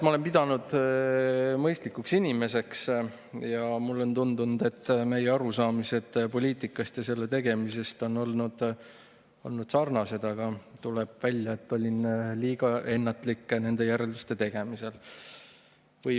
Ma olen pidanud Kallet mõistlikuks inimeseks ja mulle on tundunud, et meie arusaamised poliitikast ja selle tegemisest on sarnased, aga tuleb välja, et olin liiga ennatlik nende järelduste tegemisel.